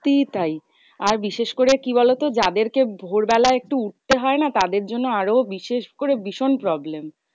সত্যি তাই আর বিশেষ করে কি বোলোত? যাদের কে ভোরবেলায় একটু উঠতে হয় না? তাদের জন্য আরো বিশেষ করে ভীষণ problem?